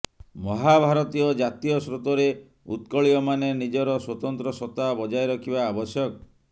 ମହାଭାରତୀୟ ଜାତୀୟ ସ୍ରୋତରେ ଉତ୍କଳୀୟମାନେ ନିଜର ସ୍ବତନ୍ତ୍ର ସତ୍ତା ବଜାୟ ରଖିବା ଆବଶ୍ୟକ